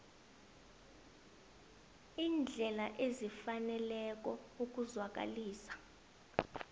iindlela ezifaneleko ukuzwakalisa